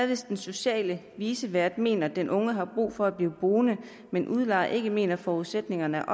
hvis den sociale vicevært mener at den unge har brug for at blive boende men udlejer ikke mener at forudsætningerne er